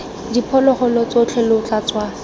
diphologolo tsotlhe lo tla tswa